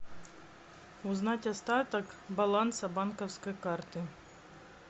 узнать остаток баланса банковской карты